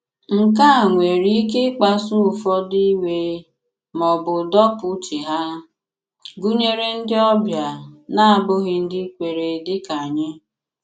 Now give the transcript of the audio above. Nke a nwèrè ike ị̀kpasu ụfọdụ iwe ma ọ bụ dọ̀pụ̀ uche há, gụnyere ndị ọbịa na-abụghị ndị kweere dị kà anyị.